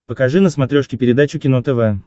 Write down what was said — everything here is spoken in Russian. покажи на смотрешке передачу кино тв